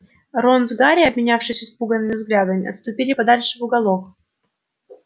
рон с гарри обменявшись испуганными взглядами отступили подальше в уголок